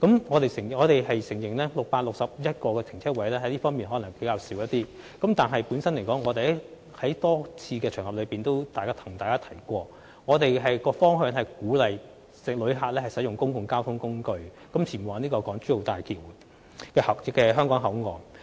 我們承認 ，661 個泊車位可能較少，但正如我們在多個場合向議員提及，我們的方向是鼓勵旅客使用公共交通工具前往大橋香港口岸。